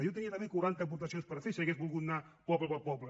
jo tenia també quaranta aportacions per fer si hagués volgut anar poble per poble